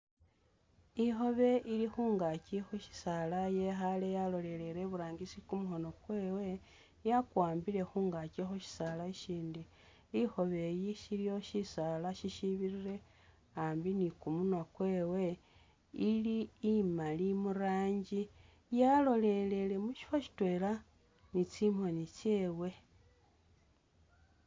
Ikhobe ili khungaakyi khu shisaala yekhale yalolelele iburangisi kumukhono kwewe yakuwambile khungaakyi khu shisaala ishindi ,ikhobe iyi shiliwo shisaala shishibirile a'ambi ni kumunwa kwewe ,ili imali muranji ,yalolelele mushifo shitwela ni tsimoni tsyewe